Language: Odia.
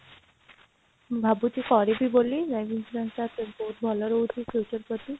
ଭାବୁଛି କରିବି ବୋଲି life insurance ଟା ବହୁତ ଭଲ ରହୁଛି future ପ୍ରତି